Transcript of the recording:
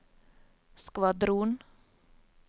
skvadron